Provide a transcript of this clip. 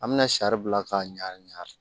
An bɛna sari bila k'a ɲa